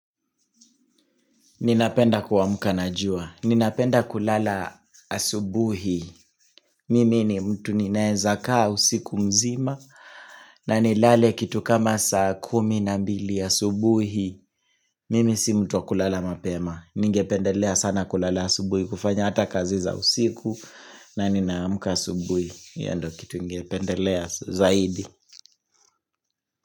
Ninapenda kuamka najua. Ninapenda kulala asubuhi. Mimi ni mtu ninaweza kaa usiku mzima na nilale kitu kama saa kumi na mbili asubuhi. Mimi si mtu wa kulala mapema. Ninge pendelea sana kulala asubuhi kufanya hata kazi za usiku na ninaamka asubuhi. Hiyo ndio kitu ningependelea zaidi.